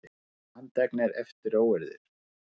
Sautján handteknir eftir óeirðir